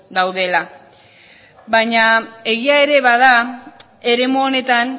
daudela baina egia ere bada eremu honetan